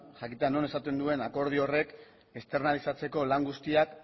jakitea non esaten duen akordio horrek externalizatzeko lan guztiak